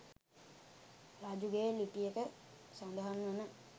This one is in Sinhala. රජුගේ ලිපියක සඳහන්වන